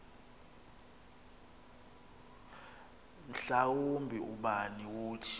mhlawumbi ubani wothi